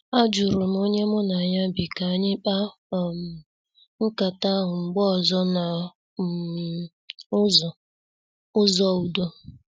Ajurum onye mụ na ya bi ka anyị mkpa um nkata ahụ mgbe ọzọ n' um ụzọ ụzọ udo.